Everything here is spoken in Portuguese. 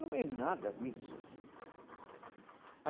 Não é nada disso.